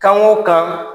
Kan o kan